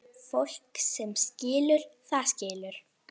Fólk sem skilur, það skilur.